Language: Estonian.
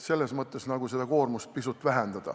Nii saab seda koormust pisut vähendada.